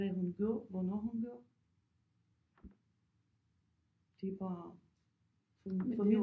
Hvad hun gør hvornår hun gør det er bare for det er jo også